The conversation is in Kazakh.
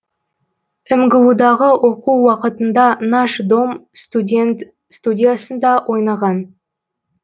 мгудағы оқу уақытында наш дом студен студиясында ойнаған